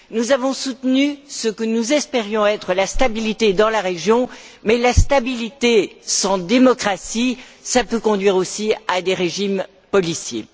nous avons soutenu ce que nous espérions être la stabilité dans la région, mais la stabilité sans démocratie, cela peut conduire aussi à des régimes policiers.